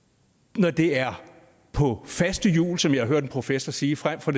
når det er på faste hjul som jeg har hørt en professor sige frem for